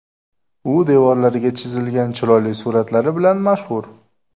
U devorlariga chizilgan chiroyli suratlari bilan mashhur.